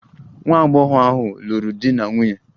Nwa agbọghọ ahụ lụrụ di na nwunye.